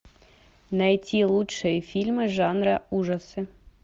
найти лучшие фильмы жанра ужасы